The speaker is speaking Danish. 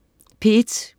P1: